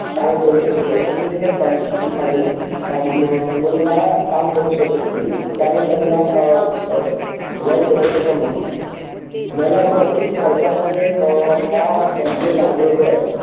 काम करू शकतो आणि त्याच्या खालती त्याच्याखाली हम्म मुलगा हा काम करू शकत नाही कारण त्यांना अ वर त्याच्या त्याच्या म्हणतात मला असं वाटते की सरकारलाही अ हा कोणत्याही language आहे.